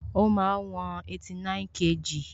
Ó máa ń wọn 89kg